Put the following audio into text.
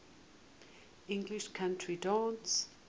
english country dance